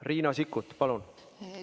Riina Sikkut, palun!